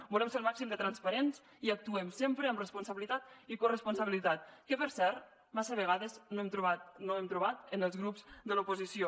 volem ser el màxim de transparents i actuem sempre amb responsabilitat i corresponsabilitat que per cert massa vegades no hem trobat en els grups de l’oposició